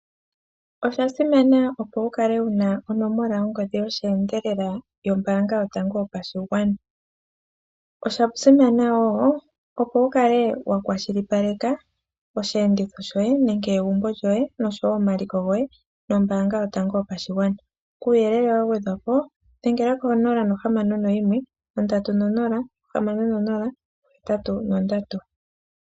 Osha simana opo wu kale wu na ongodhi yosheendelela yombaanga yoye yopashigwana. Osha simana wo opo wu kale wa kwashilipaleka osheenditho shoye nenge egumbo lyoye noshowo omaliko goye noombaanga yoye yopashigwana. Kuuyelele wa gwedhwa po, dhengela ko061306083.